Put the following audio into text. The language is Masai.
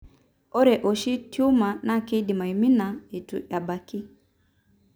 Ore oshi tumuor na kindim amina etu ebaaki.